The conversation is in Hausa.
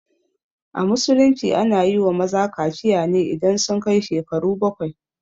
A musulunci ana yiwa maza kaciya ne idan sun kai shekaru bakwai